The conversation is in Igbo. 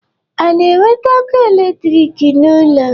A na-ewete ọkụ electric n'ụlọ?